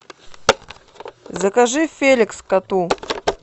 закажи феликс коту